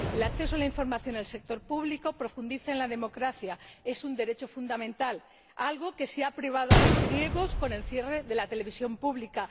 El acceso a la información del sector público profundiza en la democracia, es un derecho fundamental, algo de lo que se ha privado a los griegos con el cierre de la televisión pública.